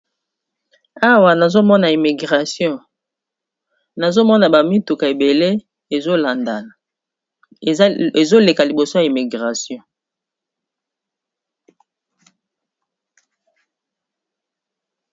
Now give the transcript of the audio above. Awa nazomona immigration nazomona bamituka ebele ezoleka liboso ya immigration.